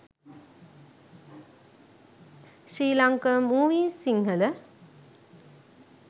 sri lanka movies sinhala